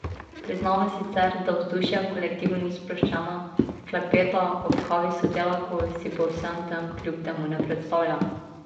Priznava sicer, da vzdušje v kolektivu ni sproščeno, klepeta ob kavi s sodelavko si po vsem tem kljub temu ne predstavlja.